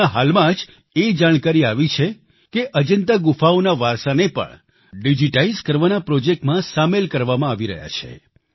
હમણાં હાલમાં જ એ જાણકારી આવી છે કે અજન્તા ગુફાઓના વારસાને પણ ડિજીટાઈઝ કરવાના પ્રોજેક્ટમાં સામેલ કરવામાં આવી રહ્યા છે